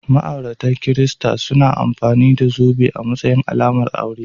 Ma'aurata kirista suna amfani da zobe a matsayin alamar aure.